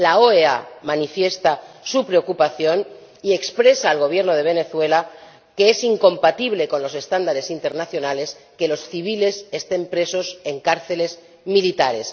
La OEA manifiesta su preocupación y expresa al Gobierno de Venezuela que es incompatible con los estándares internacionales que los civiles estén presos en cárceles militares.